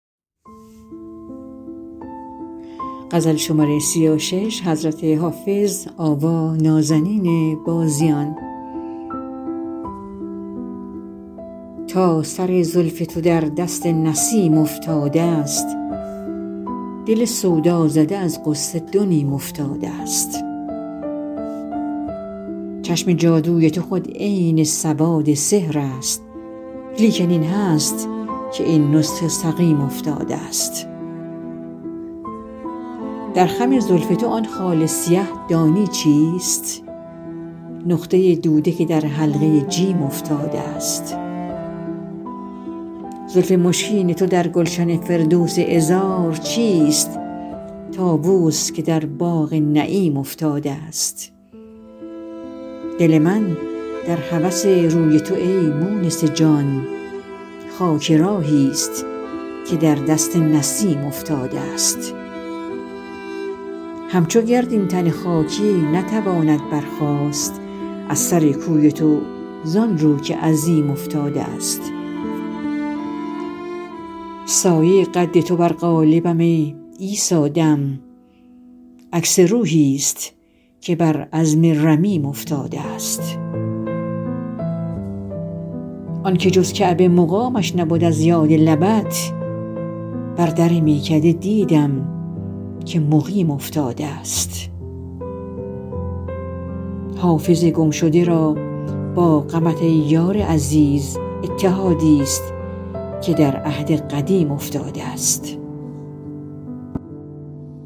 تا سر زلف تو در دست نسیم افتادست دل سودازده از غصه دو نیم افتادست چشم جادوی تو خود عین سواد سحر است لیکن این هست که این نسخه سقیم افتادست در خم زلف تو آن خال سیه دانی چیست نقطه دوده که در حلقه جیم افتادست زلف مشکین تو در گلشن فردوس عذار چیست طاووس که در باغ نعیم افتادست دل من در هوس روی تو ای مونس جان خاک راهیست که در دست نسیم افتادست همچو گرد این تن خاکی نتواند برخاست از سر کوی تو زان رو که عظیم افتادست سایه قد تو بر قالبم ای عیسی دم عکس روحیست که بر عظم رمیم افتادست آن که جز کعبه مقامش نبد از یاد لبت بر در میکده دیدم که مقیم افتادست حافظ گمشده را با غمت ای یار عزیز اتحادیست که در عهد قدیم افتادست